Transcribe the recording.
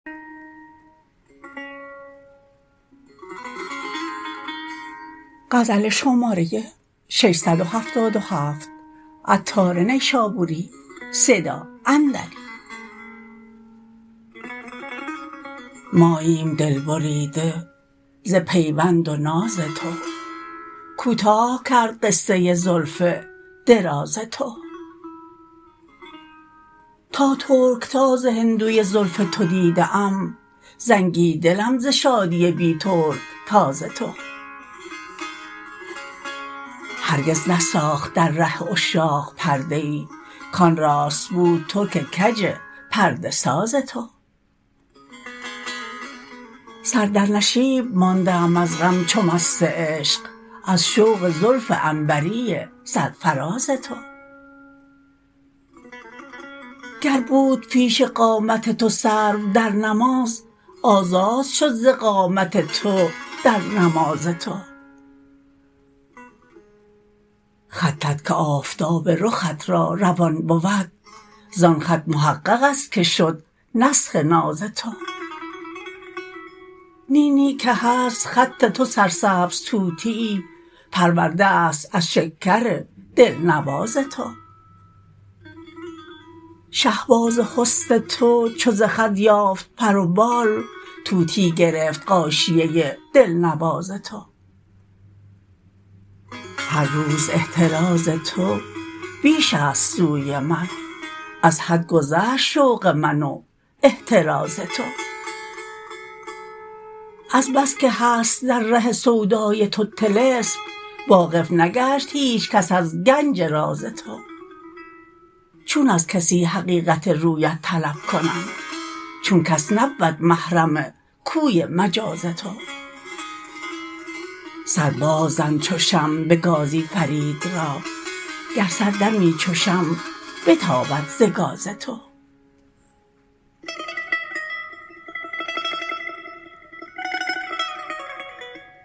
ماییم دل بریده ز پیوند و ناز تو کوتاه کرده قصه زلف دراز تو تا ترکتاز هندوی زلف تو دیده ام زنگی دلم ز شادی بی ترکتاز تو هرگز نساخت در ره عشاق پرده ای کان راست بود ترک کج پرده ساز تو سر در نشیب مانده ام از غم چو مست عشق از شوق زلف عنبری سرفراز تو گر بود پیش قامت تو سرو در نماز آزاد شد ز قامت تو در نماز تو خطت که آفتاب رخت را روان بود زان خط محقق است که شد نسخ ناز تو نی نی که هست خط تو سرسبز طوطیی پرورده است از شکر دلنواز تو شهباز حسن تو چو ز خط یافت پر و بال طوطی گرفت غاشیه دلنواز تو هر روز احتراز تو بیش است سوی من از حد گذشت شوق من و احتراز تو از بس که هست در ره سودای تو طلسم واقف نگشت هیچ کس از گنج راز تو چون از کسی حقیقت رویت طلب کنم چون کس نبود محرم کوی مجاز تو سر باز زن چو شمع به گازی فرید را گر سر دمی چو شمع بتابد ز گاز تو